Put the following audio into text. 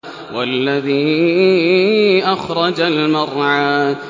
وَالَّذِي أَخْرَجَ الْمَرْعَىٰ